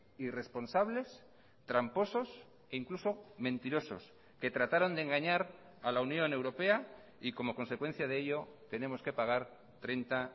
irresponsables tramposos e incluso mentirosos que trataron de engañar a la unión europea y como consecuencia de ello tenemos que pagar treinta